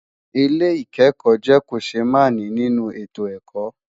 Ìwé ìkẹ́kọ̀ọ́ jẹ́ kòṣémààní nínú ètò ẹ̀kọ́.